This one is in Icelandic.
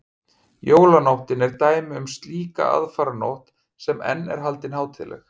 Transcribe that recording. Jólanóttin er dæmi um slíka aðfaranótt sem enn er haldin hátíðleg.